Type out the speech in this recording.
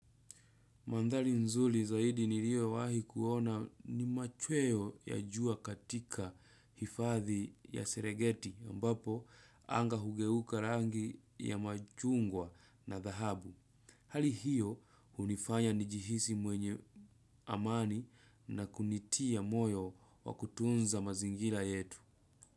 Mandhali nzuli zaidi nirio wahi kuona ni machweo ya jua katika hifadhi ya serengeti ambapo anga hugeuka rangi ya majungwa na dhahabu. Hali hiyo unifanya ni jihisi mwenye amani na kunitia moyo wa kutunza mazingila yetu.